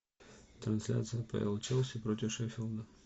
трансляция апл челси против шеффилда